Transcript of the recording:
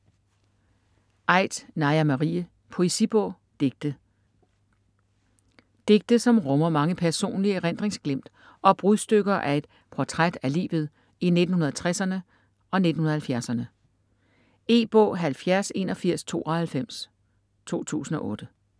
Aidt, Naja Marie: Poesibog: digte Digte som rummer mange personlige erindringsglimt og brudstykker af et portræt af livet i 1960'erne og 1970'erne. E-bog 708192 2008.